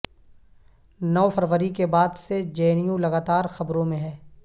نو فروری کے بعد سے جے این یو لگاتار خبروں میں ہے